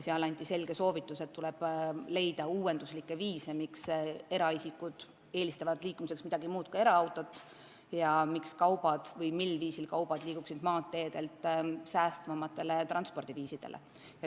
Meile anti selge soovitus, et tuleb leida uuenduslikke lahendusi, et eraisikud eelistaksid liikumiseks midagi muud kui eraautot ja et kaubavedu maanteedel asenduks säästvamate transpordiviisidega.